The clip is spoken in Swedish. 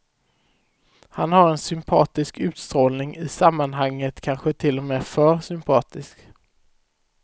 Han har en sympatisk utstrålning, i sammanhanget kanske till och med för sympatisk.